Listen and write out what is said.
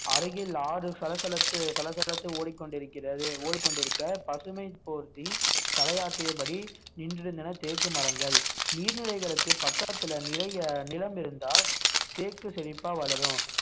அருகில் ஆறு சலசலத்து சலசலத்து ஓடிக்கொண்டிருக்கிறது ஓடிக்கொண்டிருக்க பசுமை போர்த்தி தலையாட்டியபடி நின்றிருந்தன தேக்கு மரங்கள் நீர்நிலைகளுக்கு பக்கத்துல நிறைய நிலம் இருந்தால் தேக்கு செழிப்பா வளரும்